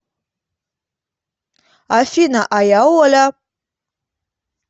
афина а я оля